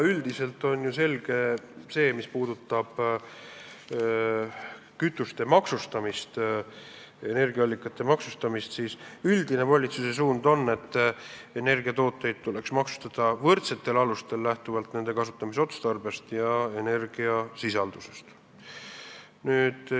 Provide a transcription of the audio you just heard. Üldiselt on ju selge, et mis puudutab kütuste, energiaallikate kasutamise maksustamist, siis üldine valitsuse suund on, et energiakandjaid tuleks maksustada võrdsetel alustel, lähtudes nende kasutamise otstarbest ja energiasisaldusest.